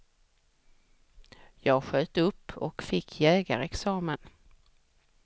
Jag sköt upp och fick jägarexamen.